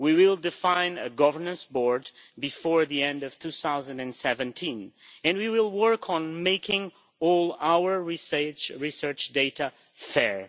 We will define a governance board before the end of 2017 and we will work on making all our research data fair